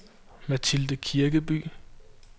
Mathilde Kirkeby